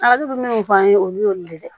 Ala bɛ minnu fɔ an ye olu y'olu le ye